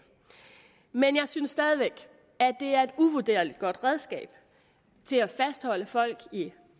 men jeg synes stadig væk at det er et uvurderligt godt redskab til at fastholde folk i